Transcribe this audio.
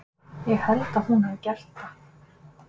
Ég held að hún hafi gert það.